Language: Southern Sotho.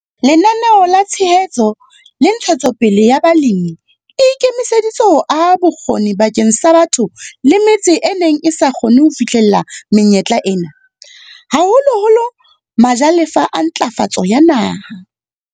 Lenaneo la Tshehetso le Ntshetsopele ya Balemi le ikemiseditse ho aha bokgoni bakeng sa batho le metse e neng e sa kgone ho fihlella menyetla ena, haholoholo majalefa a Ntlafatso ya Naha.